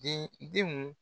Den denw